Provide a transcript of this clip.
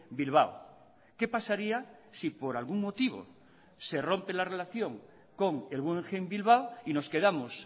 bilbao qué pasaría si por algún motivo se rompe la relación con el guggenheim bilbao y nos quedamos